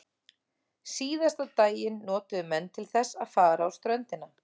Síðasta daginn notuðu menn til þess að fara á ströndina.